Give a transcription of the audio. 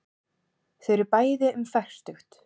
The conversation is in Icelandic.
Þau eru bæði um fertugt.